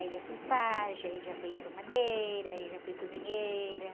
Aí já fui pajem, aí já fui arrumadeira, aí já fui cozinheira.